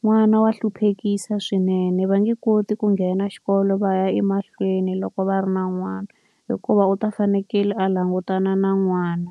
n'wana wa hluphekisa swinene. Va nge koti ku nghena xikolo va ya emahlweni loko va ri na n'wana, hikuva u ta fanekele a langutana na n'wana.